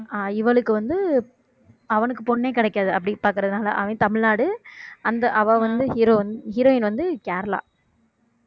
ஆஹ் இவளுக்கு வந்து அவனுக்கு பொண்ணே கிடைக்காது அப்படி பார்க்கிறதுனால அவன் தமிழ்நாடு அந்த அவ வந்து heroi~ heroine வந்து கேரளா